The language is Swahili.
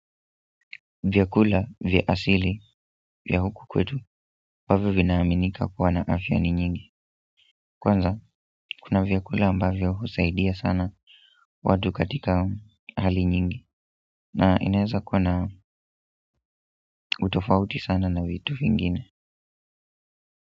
Vyakula vya asili vya huku kwetu ambavyo vinaaminika kuwa na afya ni nyingi kwanza kuna vyakula ambavyo husaidia sana watu katika hali nyingi na inaweza kuwa na utofauti sana na vitu vingine.